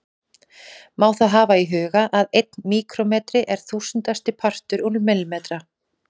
Má þá hafa í huga að einn míkrómetri er þúsundasti partur úr millimetra.